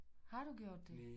Har du gjort det